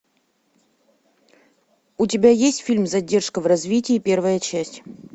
у тебя есть фильм задержка в развитии первая часть